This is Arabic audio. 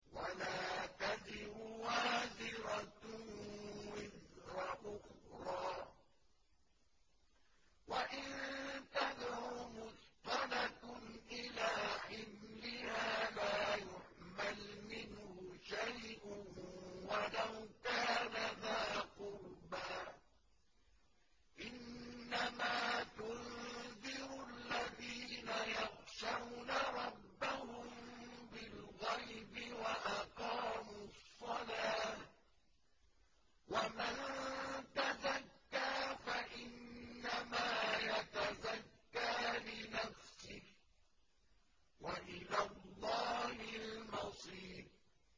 وَلَا تَزِرُ وَازِرَةٌ وِزْرَ أُخْرَىٰ ۚ وَإِن تَدْعُ مُثْقَلَةٌ إِلَىٰ حِمْلِهَا لَا يُحْمَلْ مِنْهُ شَيْءٌ وَلَوْ كَانَ ذَا قُرْبَىٰ ۗ إِنَّمَا تُنذِرُ الَّذِينَ يَخْشَوْنَ رَبَّهُم بِالْغَيْبِ وَأَقَامُوا الصَّلَاةَ ۚ وَمَن تَزَكَّىٰ فَإِنَّمَا يَتَزَكَّىٰ لِنَفْسِهِ ۚ وَإِلَى اللَّهِ الْمَصِيرُ